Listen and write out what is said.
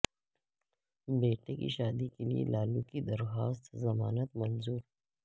بیٹے کی شادی کیلئے لالو کی درخواست ضمانت منظور